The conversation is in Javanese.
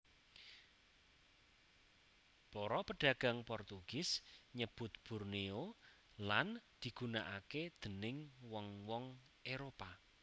Para pedagang Portugis nyebut Borneo lan digunaaké déning wong wong Éropah